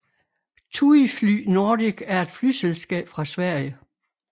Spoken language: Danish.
TUIfly Nordic er et flyselskab fra Sverige